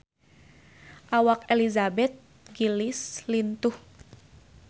Awak Elizabeth Gillies lintuh